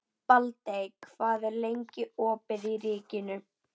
Baldey, hvað er lengi opið í Ríkinu?